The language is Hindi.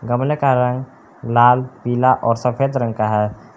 गमले का रंग लाल पीला और सफ़ेद रंग का है।